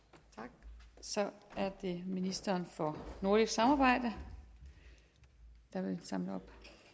tak så er det ministeren for nordisk samarbejde der vil samle op